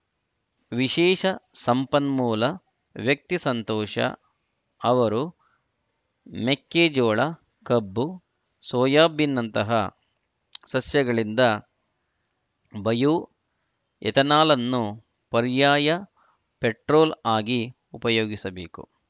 ವಿಶೇಷ ಸಂಪನ್ಮೂಲ ವ್ಯಕ್ತಿ ಸಂತೋಷ ಅವರು ಮೆಕ್ಕೆಜೋಳ ಕಬ್ಬು ಸೋಯಬಿನ್‌ನಂತಹ ಸಸ್ಯಗಳಿಂದ ಬಯೋ ಎಥೆನಾಲ್‌ನ್ನು ಪರ್ಯಾಯ ಪೆಟ್ರೋಲ್‌ ಆಗಿ ಉಪಯೋಗಿಸಬೇಕು